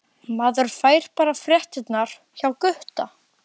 Maður fær bara fréttirnar hjá Gutta!